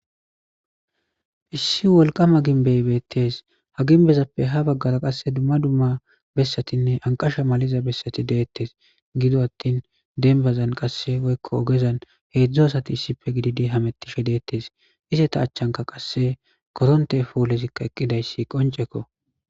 issi wolqama ginbey beettes ha ginbezappe ha baggara qasse dumma dumma bessatinne anqasha maliza bessati deettes gido attin denbazan qasse oykko ogezan heedzdzu asati issife gididi hamettishe deettes ise ta achchanka qasse koronte foolezikka eqqidayssi qonceko